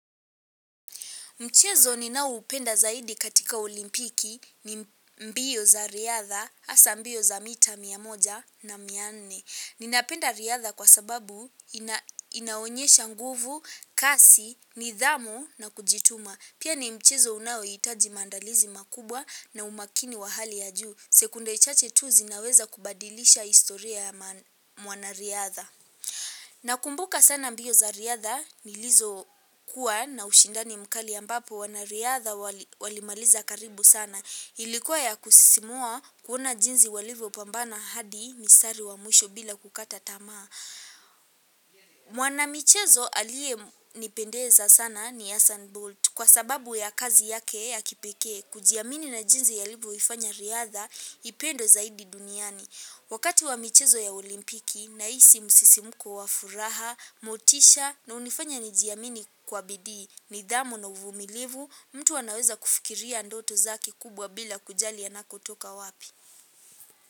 Mchezo ninaoupenda zaidi katika olimpiki ni mbio za riadha hasa mbio za mita mia moja na mia nne. Ninapenda riadha kwa sababu inaonyesha nguvu, kasi, nidhamu na kujituma. Pia ni mchezo unaohitaji maandalizi makubwa na umakini wa hali ya juu. Sekunde chache tu zinaweza kubadilisha historia ya mwanariadha. Nakumbuka sana mbio za riadha nilizo kuwa na ushindani mkali ambapo wanariadha walimaliza karibu sana. Ilikuwa ya kusisimua kuona jinzi walivopambana hadi mistari wa mwisho bila kukata tamaa. Mwanamichezo aliyenipendeza sana ni Hassan Bolt kwa sababu ya kazi yake ya kipekee kujiamini na jinzi alivoifanya riadha ipendwe zaidi duniani. Wakati wa michezo ya olimpiki nahisi msisimuko wa furaha, motisha na hunifanya nijiamini kwa bidii nidhamu na uvumilivu mtu anaweza kufikiria ndoto zake kubwa bila kujali anakotoka wapi.